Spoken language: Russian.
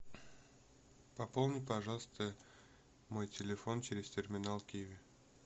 пополни пожалуйста мой телефон через терминал киви